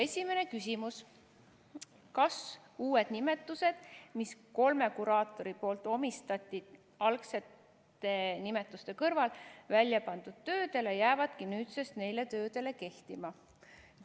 Esimene küsimus: "Kas uued nimetused, mis kolme kuraatori poolt omistati väljapandud töödele, jäävadki nüüdsest neile töödele kehtima?